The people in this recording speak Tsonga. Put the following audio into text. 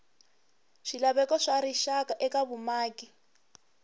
swilaveko swa rixaka eka vumaki